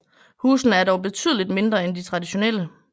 Husene er dog betydelig mindre end de traditionelle